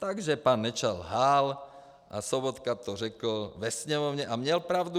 Takže pan Nečas lhal a Sobotka to řekl ve Sněmovně, a měl pravdu.